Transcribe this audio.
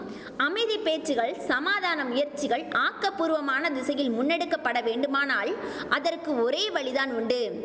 அமைதி பேச்சுகள் சமாதான முயற்சிகள் ஆக்கபூர்வமான திசையில் முன்னெடுக்க பட வேண்டுமானால் அதற்கு ஒரே வழிதான் உண்டு